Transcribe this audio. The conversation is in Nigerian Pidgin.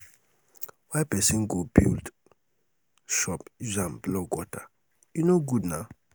why pesin go build shop use am block gutter? e no good naa.